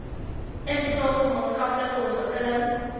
insake maatskaplike ontwikkeling